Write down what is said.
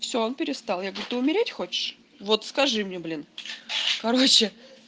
все он перестал я говорю ты умереть хочешь вот скажи мне блин короче